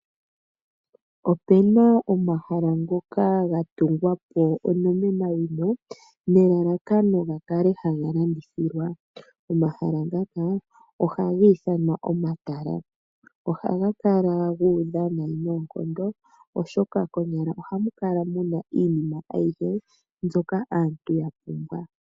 Opu na omahala ngoka ga tungwa po onomenawina nelalakano ga kale haga landithilwa. Omahala ngaka ohaga ithanwa omatala. Ohaga kala gu udha noonkondo, oshoka konyala ohamu kala mu na iinima ayihe mbyoka aantu ya pumbwa.